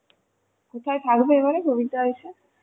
কোথায় থাকবে এবার প্রবীরদা এসে?